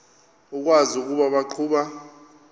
ukwazi ukuba baqhuba